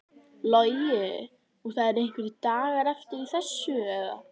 Logi: Og það eru einhverjir dagar eftir að þessu eða?